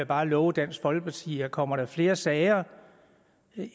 bare love dansk folkeparti at kommer der flere sager